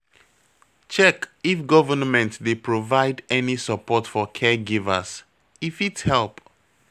Check if government dey provide any support for caregivers, e fit help